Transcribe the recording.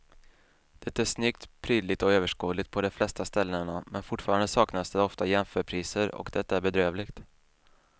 Det är snyggt, prydligt och överskådligt på de flesta ställena men fortfarande saknas det ofta jämförpriser och det är bedrövligt.